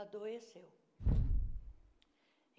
adoeceu.